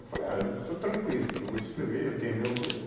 Eu falei, ah, eu estou tranquilo que eu vou escrever, eu tenho meu grupo.